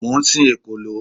Mo ń sin ekòló.